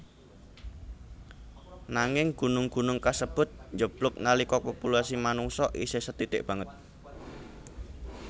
Nanging gunung gunung kasebut njeblug nalika populasi manungsa isih sethithik banget